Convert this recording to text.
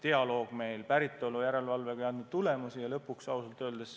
Meie dialoog raha päritolu järelevalvega ei andnud tulemusi.